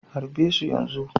Harbe su yanzu!